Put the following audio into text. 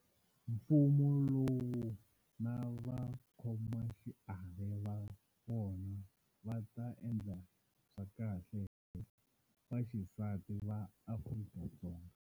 Mfumo lowu na vakhomaxiave va wona va ta endla swakahle hi vaxisati va Afrika-Dzonga.